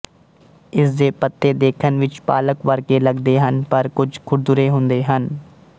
ਇਸ ਦੇ ਪੱਤੇ ਦੇਖਣ ਵਿੱਚ ਪਾਲਕ ਵਰਗੇ ਲਗਦੇ ਹਨ ਪਰ ਕੁੱਝ ਖੁਰਦੁਰੇ ਹੁੰਦੇ ਹਨ